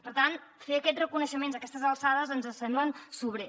per tant fer aquest reconeixement a aquestes alçades ens sembla sobrer